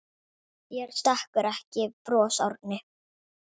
Þér stekkur ekki bros Árni.